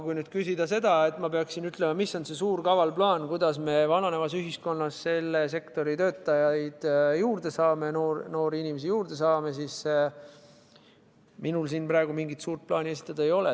Kui nüüd küsida seda, mis on see suur kaval plaan, kuidas me vananevas ühiskonnas selle sektori töötajaid juurde saame, noori inimesi juurde saame, siis minul praegu mingit suurt plaani esitada ei ole.